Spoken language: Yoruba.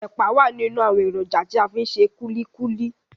Ẹ̀pà wà nínú àwọn èròjà tí a fi ń ṣe kulikuli.